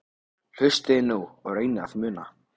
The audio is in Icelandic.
Hlustiði nú og reynið að muna